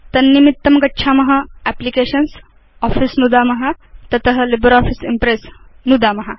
तन्निमितं गच्छाम applications GT office नुदतु gt तत लिब्रियोफिस इम्प्रेस् नुदतु